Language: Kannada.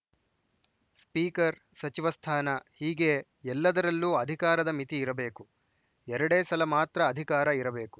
ಸ್ಪೀಕರ್‌ ಸಚಿವ ಸ್ಥಾನ ಹೀಗೆ ಎಲ್ಲದರಲ್ಲೂ ಅಧಿಕಾರದ ಮಿತಿ ಇರಬೇಕು ಎರಡೇ ಸಲ ಮಾತ್ರ ಅಧಿಕಾರ ಇರಬೇಕು